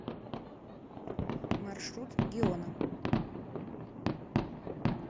маршрут геона